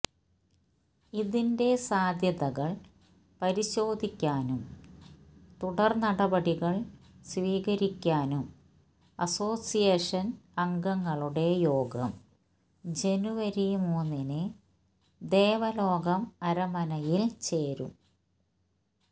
ഇതിന്റെ സാധ്യതകള് പരിശോധിക്കാനും തുടര് നടപടികള് സ്വീകരിക്കാനും അസോസിയേഷന് അംഗങ്ങളുടെ യോഗം ജനുവരി മൂന്നിന് ദേവലോകം അരമനയില് ചേരും